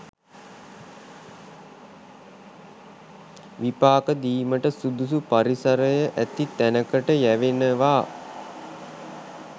විපාක දීමට සුදුසු පරිසරය ඇති තැනකට යැවෙනවා